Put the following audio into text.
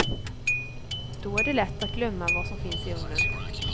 Då är det lätt att glömma vad som finns i ugnen.